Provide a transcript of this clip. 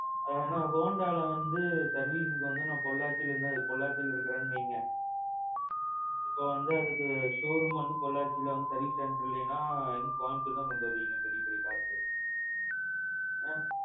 என்னன்னா Hondaல வந்து servicing நான் பொள்ளாச்சி அவன் பொள்ளாச்சி இருக்கிறானு வைங்க, இப்போ அதுக்கு showroom வந்து பொள்ளாச்சில service center இல்லைனா, கோயம்புத்தூர் தான் கொண்டுவருவீங்க பெரிய பெரிய cars. ஆ.